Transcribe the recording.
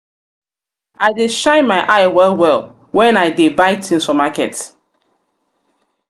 i dey shine my eye well-well wen i dey buy tins for market.